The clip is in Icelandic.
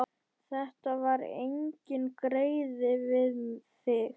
Þetta var enginn greiði við þig.